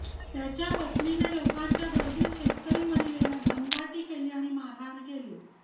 त्याच्या पत्नीने लोकांच्या गर्दीत शेतकरी महिलेला दमदाटी केली आणि मारहाण केली